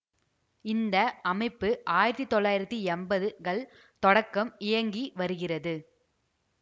இந்த அமைப்பு ஆயிரத்தி தொள்ளாயிரத்தி எம்பது கள் தொடக்கம் இயங்கி வருகிறது